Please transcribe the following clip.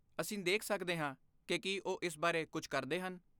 ਅਸੀਂ ਦੇਖ ਸਕਦੇ ਹਾਂ ਕਿ ਕੀ ਉਹ ਇਸ ਬਾਰੇ ਕੁਝ ਕਰਦੇ ਹਨ।